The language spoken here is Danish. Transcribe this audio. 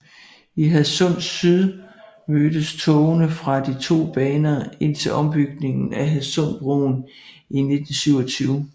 I Hadsund Syd mødtes togene fra de to baner indtil ombygningen af Hadsundbroen i 1927